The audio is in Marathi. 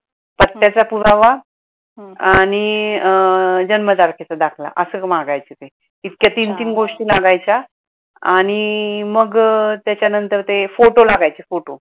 पुरावा आणि अं जन्मतारखेचा दाखला अस मागायचे ते. इतक्या तीन तीन गोष्टी लागायच्या आणि मग त्यच्या नंतर ते फोटो लागायचे फोटो.